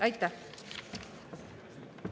Aitäh!